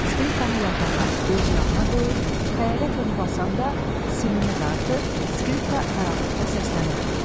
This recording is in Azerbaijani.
Skripkanı yatağa, öz yanına qoyur, xəyalət onu basanda simini dartır, skripka qaranlıqda səslənirdi.